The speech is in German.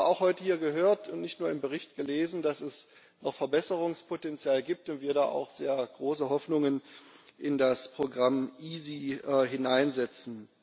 Wir haben aber auch heute hier gehört und nicht nur im Bericht gelesen, dass es noch Verbesserungspotenzial gibt und wir da auch sehr große Hoffnungen in das Programm EaSi setzen.